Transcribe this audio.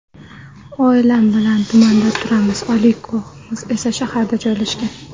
Oilam bilan tumanda turamiz, oliygohimiz esa shaharda joylashgan.